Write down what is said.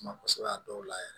Suma kosɛbɛ a dɔw la yɛrɛ